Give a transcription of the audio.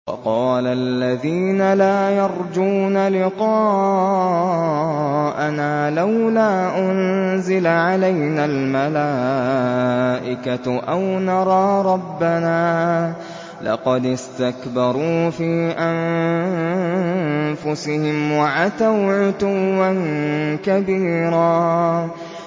۞ وَقَالَ الَّذِينَ لَا يَرْجُونَ لِقَاءَنَا لَوْلَا أُنزِلَ عَلَيْنَا الْمَلَائِكَةُ أَوْ نَرَىٰ رَبَّنَا ۗ لَقَدِ اسْتَكْبَرُوا فِي أَنفُسِهِمْ وَعَتَوْا عُتُوًّا كَبِيرًا